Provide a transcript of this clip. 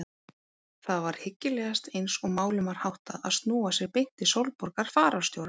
Það var hyggilegast eins og málum var háttað að snúa sér beint til Sólborgar fararstjóra.